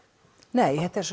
nei þetta er